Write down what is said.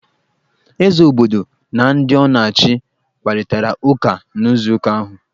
Eze obodo na ndị ọ na-achị kparịtara ụka na nzụkọ ahụ.